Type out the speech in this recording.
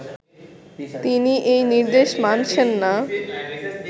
তিনি এ নির্দেশ মানছেন না